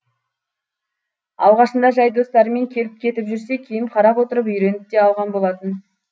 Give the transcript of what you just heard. алғашында жай достарымен келіп кетіп жүрсе кейін қарап отырып үйреніп те алған болатын